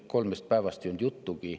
Kolmest päevast ei olnud juttugi.